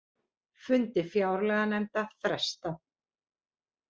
Fundi fjárlaganefndar frestað